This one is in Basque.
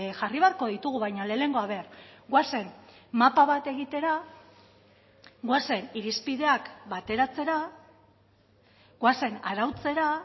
jarri beharko ditugu baina lehenengo a ver goazen mapa bat egitera goazen irizpideak bateratzera goazen arautzera